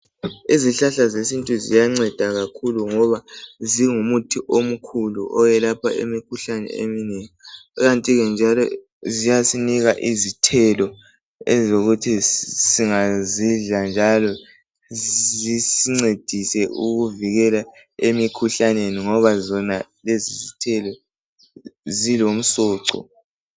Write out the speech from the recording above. Izihlahla zesintu ziyanceda kakhulu ngoba zingumuthi omkhulu zelapha imikhuhlane eminengi. Ikantike njalo zisipha izithelo ezisivikela emikhuhlaneni ngoba zilomsoco.